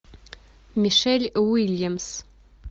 мишель уильямс